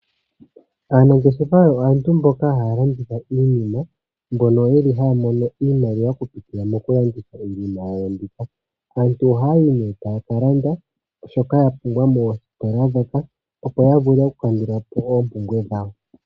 Aanangeshefa oyo aantu mboka haya mono iimaliwa okupitila mokulanditha iinima. Aantu ohaya ka landa shoka yapumbwa moositola opo ya vule okukandula po oompumbwe dhawo.